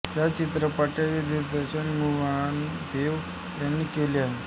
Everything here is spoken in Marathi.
या चित्रपटाचे दिग्दर्शन मृणाल देव यांनी केले आहे